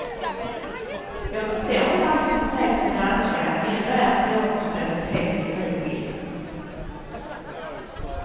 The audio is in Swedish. Jag förstår inte allt som sägs på danska, ändå är teaterspråket helt begripligt.